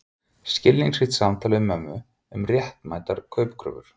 Skilningsríkt samtal við mömmu um réttmætar kaupkröfur.